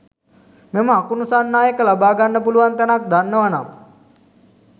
මෙම අකුණු සන්නායක ලබාගන්න පුළුවන් තැනක් දන්නවනම්